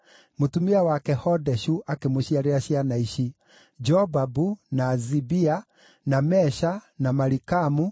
Mũtumia wake Hodeshu akĩmũciarĩra ciana ici: Jobabu, na Zibia, na Mesha, na Malikamu,